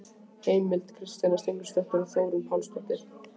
Heimild: Kristjana Steingrímsdóttir og Þórunn Pálsdóttir.